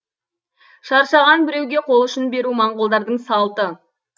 шаршаған біреуге қол ұшын беру моңғолдардың салты